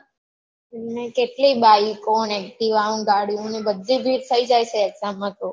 ને કેટલી bike ઓ ને activa ઓને ગાડીઓને બધી ભીડ થઇ જાય છે exam માં તો